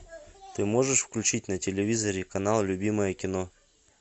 ты можешь включить на телевизоре канал любимое кино